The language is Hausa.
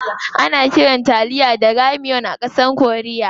Ana kiran taliya "ramyeon" a ƙasar korea.